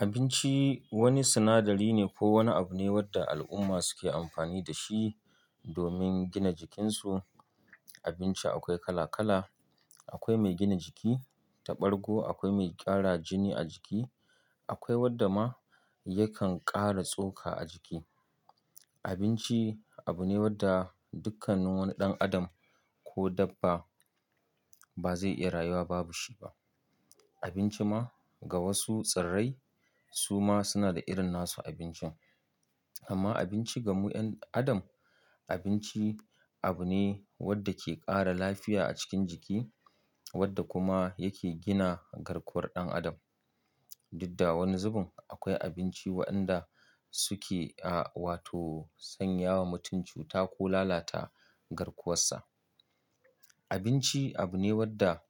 Abinci wani sinadari ne ko wani abu ne wanda al'umma suke amfani da shi domin gina jikinsu. Abinci akwai kala-kala, akwai mai gina jiki da ɓargo, akwai mai ƙara jini a jiki, akwai wanda ma ya kan ƙara tsoka a jiki. Abinci abu ne wanda dukkan wani ɗan adam ko dabba ba zai iya rayuwa babu shi ba. Abinci ma ga wasu tsirrai su ma suna da irin nasu abinci. Amma abinci ga mu ƴan adam, abinci abu ne wanda ke ƙara lafiya a cikin jiki wanda kuma yake gina garkuwar ɗan adam. Duk da wani zubin akwai abinci waɗanda suke, ah, wato sanya wa mutum cuta ko lalata garkuwarsa. Abinci abu ne wadda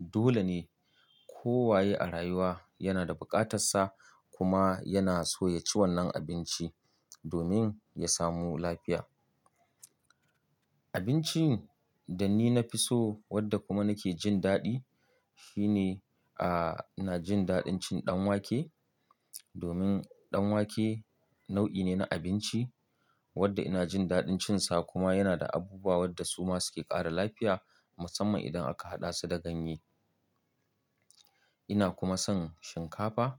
dole ne kowa ye a rayuwa ya na da bukatarsa kuma ya na so ya ci wannan abinci domin ya samu lafiya. Abincin da ni na fi so wanda kuma nake jin daɗi shi ne, ah, ina jin daɗin cin ɗan wake domin ɗan wake nau'i ne na abinci wadda ina jin daɗin cin sa kuma yana da abubuwa wadda su ma suke ƙara lafiya musamman idan aka haɗa su da ganye. Ina kuma son shinkafa.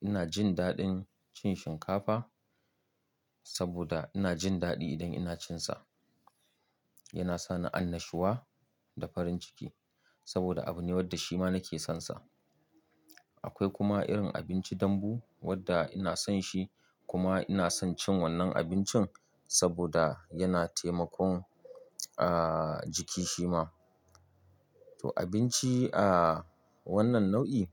Ina jin daɗin cin shinkafa saboda ina jin daɗi idan ina cin sa. Yana sa ni annashuwa da farin ciki saboda abu ne wadda shi ma na ke sonsa. Akwai kuma irin abinci dambu wadda ina son shi kuma ina son cin wannan abincin saboda ya na taimakon, ah, jiki shi ma. To abinci, ah, wannan nau'i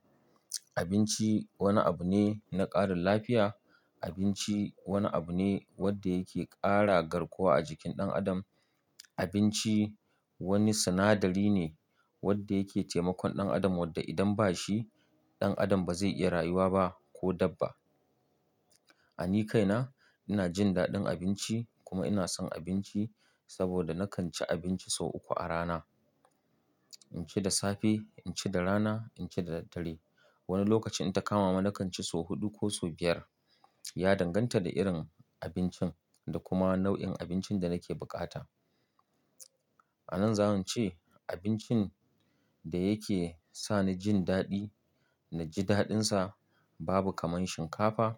abinci wani abu ne na ƙarin lafiya. Abinci wani abu ne wadda yake ƙara garkuwa a jikin ɗan adam. Abinci wani sinadari ne wadda yake taimakon ɗan adam wadda idan ba shi, ɗan adam ba zai iya rayuwa ba ko dabba. A ni kaina ina jin daɗin abinci kuma ina son abinci saboda nakan ci abinci sau uku a rana. In ci da safe, in ci da rana, in ci da daddare. Wani lokacin idan ta kama mu nakan ci sau huɗu ko sau biyar. Ya danganta da irin abincin da kuma nau'in abincin da nake bukata. A nan zan ce abincin da ya ke sa ni jin daɗi na ji daɗinsa babu kamar shinkafa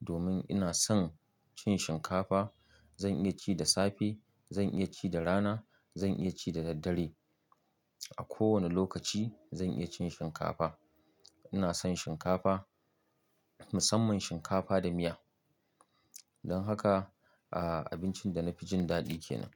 domin ina son cin shinkafa. Zan iya ci da safe, zan iya ci da rana, zan iya ci da daddare. A kowane lokaci zan iya cin shinkafa. Ina son shinkafa musamman shinkafa da miya. Don haka, ah, abincin da na fi jin daɗi ke nan.